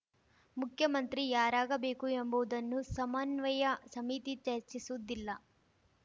ಮುಖ್ಯಮಂತ್ರಿ ಯಾರಾಗಬೇಕು ಎಂಬುವುದನ್ನು ಸಮನ್ವಯ ಸಮಿತಿ ಚರ್ಚಿಸುವುದಿಲ್ಲ